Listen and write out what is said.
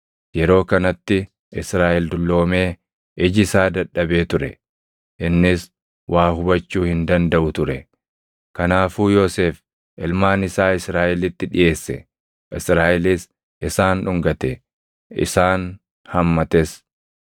Yeroo kanatti Israaʼel dulloomee iji isaa dadhabee ture; innis waa hubachuu hin dandaʼu ture. Kanaafuu Yoosef ilmaan isaa Israaʼelitti dhiʼeesse; Israaʼelis isaan dhungate; isaan hammates.